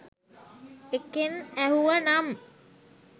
එකෙන් ඇහුව නම්.